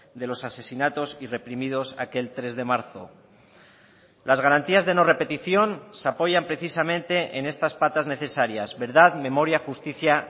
de los asesinatos y reprimidos aquel tres de marzo las garantías de no repetición se apoyan precisamente en estas patas necesarias verdad memoria justicia